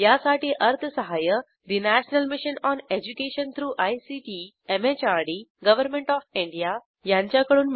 यासाठी अर्थसहाय्य national mission on education through ICT MHRD government of India यांच्याकडून मिळालेले आहे